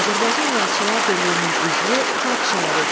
Azərbaycan Yazıçılar Birliyinin üzvü, xalq şairidir.